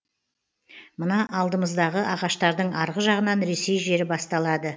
мына алдымыздағы ағаштардың арғы жағынан ресей жері басталады